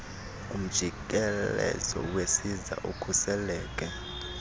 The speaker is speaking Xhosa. umjikelezo wesiza ukhuseleke